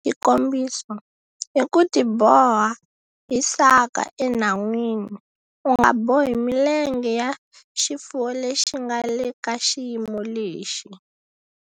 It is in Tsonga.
Xikombiso, hi ku tiboha hi saka enhan'wini. U nga bohi milenge ya xifuwo lexi nga le ka xiyimo lexi.